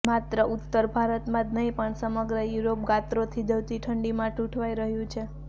માત્ર ઉત્તર ભારતમાં જ નહીં પણ સમગ્ર યુરોપ ગાત્રો થીજાવતી ઠંડીમાં ઠુંઠવાઈ રહ્યું છે